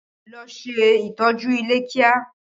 Ló ṣe ìtọ́jú ilé kíá!